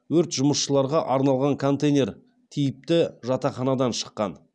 өрт жұмысшыларға арналған контейнер типті жатақханадан шыққан